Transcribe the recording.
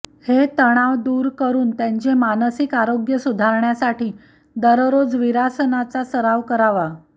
हे तणाव दूर करून त्यांचे मानसिक आरोग्य सुधारण्यासाठी दररोज विरासनाचा सराव करावा